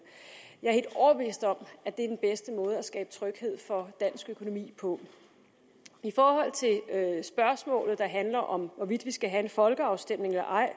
jeg er helt overbevist om at det er den bedste måde at skabe tryghed for dansk økonomi på i forhold til spørgsmålet der handler om hvorvidt vi skal have en folkeafstemning eller ej